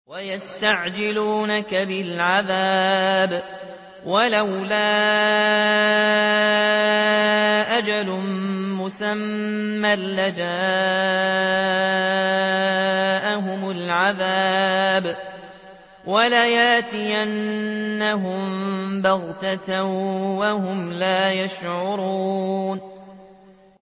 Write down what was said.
وَيَسْتَعْجِلُونَكَ بِالْعَذَابِ ۚ وَلَوْلَا أَجَلٌ مُّسَمًّى لَّجَاءَهُمُ الْعَذَابُ وَلَيَأْتِيَنَّهُم بَغْتَةً وَهُمْ لَا يَشْعُرُونَ